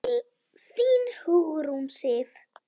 Þín, Hugrún Sif.